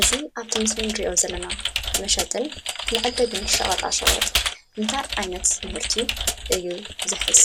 እዚ አብቲ ምሰሊ እንሪኦ ዘለና መሸጢን መዐደጊን ሸቀጣ ሸቀጥ እንታይ ዓይነት ምህርቲ እዩ ዝሕዝ?